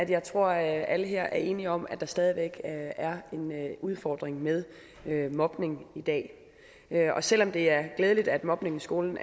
jeg tror at alle her er enige om at der stadig væk er en udfordring med mobning i dag selv om det er glædeligt at mobning i skolen